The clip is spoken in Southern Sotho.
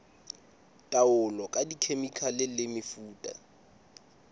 taolo ka dikhemikhale le mefuta